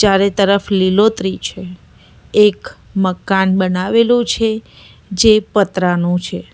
ચારે તરફ લીલોતરી છે એક મકાન બનાવેલું છે જે પતરા નું છે.